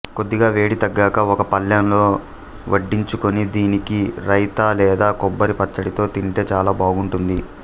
కొద్దిగా వేడి తగ్గాక ఒక పళ్ళెంలో వడ్డించుకొని దీనికి రైతా లేదా కొబ్బరి పచ్చడితో తింటే చాలా బావుంటుంది